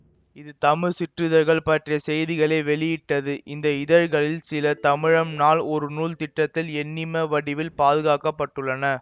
இது தமிழ் சிற்றிதழ்கள் பற்றிய செய்திகளை வெளியிட்டது இந்த இதழ்களில் சில தமிழம் நாள் ஒரு நூல் திட்டத்தில் எண்ணிம வடிவில் பாதுகாக்க பட்டுள்ளன